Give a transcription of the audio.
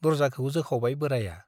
दरजाखौ जोखावबाय बोराइया ।